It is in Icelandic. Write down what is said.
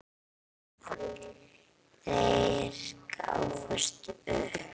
Þeir gáfust upp.